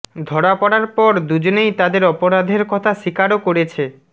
ধরা পড়ার পর দুজনেই তাদের অপরাধের কথা স্বীকারও করেছে